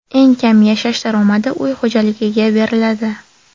Eng kam yashash daromadi uy xo‘jaligiga beriladi.